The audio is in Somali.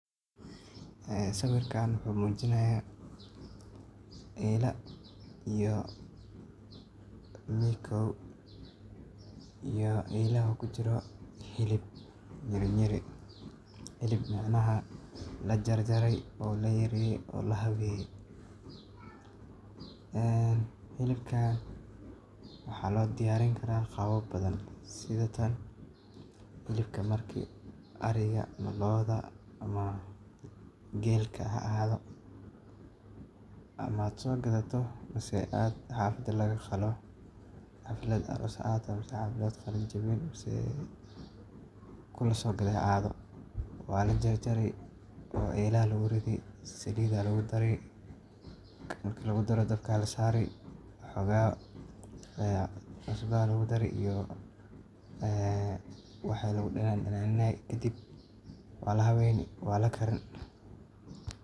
Sawirkan wuxu mujinaya eela iyo mikow, iyo eelaxa kujiro xilib nyiri nyiri, xilib micnaxa lajarjaray oo layareye oo laxaweye ee xilibka waxaloodiyarin kara qawab badan sida tan xilibkla marki ariga ama looda ama geelka ha axaado ama aad sogadato mase aad xafada lagaqalo xaflad aross ha axaato mse xaflad qalinjawin, mse kulaso gade ha xaado waa lajarjari oo eela laguridi saliid aa lagudari marki lagudaro dabka lasari waxooga cusba aya lagudari waxoga ee iyo waxi lagu danan danaaninay kadib waalaxaweyni waa walakarin .